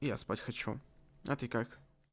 я спать хочу а ты как